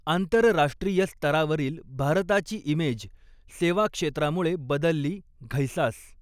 आंतरराष्ट्रीय स्तरावरील भारताची इमेज सेवा क्षेत्रामुळे बदलली घैसास